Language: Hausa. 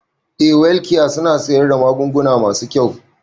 Eh welkiya suna siyar da magunguna masu kyau